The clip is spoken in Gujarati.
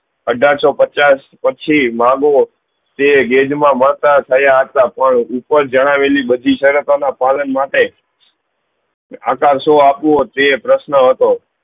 અઠાર સૌ પચાસ પછી તે ગેજ મા મતા થયા હતા પણ ઉપર જણાવેલી બધી સરતો પાલન માટે આકાસો આપું તે પ્રશ્ન હતો